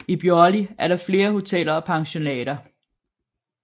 I Bjorli er der flere hoteller og pensionater